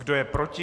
Kdo je proti?